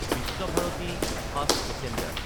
Visva-Bharati fast passenger